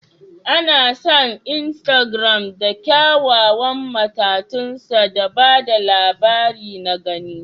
An san Instagram da kyawawan matatunsa da ba da labari na gani